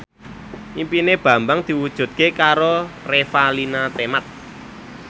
impine Bambang diwujudke karo Revalina Temat